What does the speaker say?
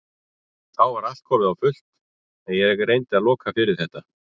Þá var allt komið á fullt en ég reyndi að loka fyrir þetta.